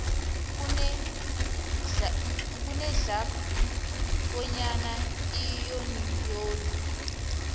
kunedlac bonyana iyuniyoni